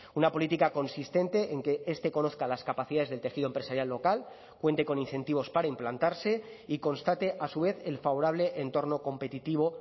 una política consistente en que este conozca las capacidades del tejido empresarial local cuente con incentivos para implantarse y constate a su vez el favorable entorno competitivo